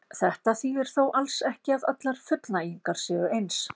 Þetta þýðir þó alls ekki að allar fullnægingar séu eins.